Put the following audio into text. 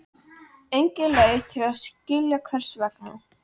Engin leið að skilja hvers vegna.